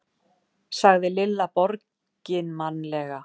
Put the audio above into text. sagði Lilla borginmannlega.